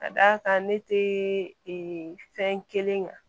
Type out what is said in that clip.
Ka d'a kan ne tɛ fɛn kelen kan